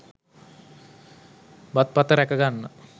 බත් පත රැකගන්න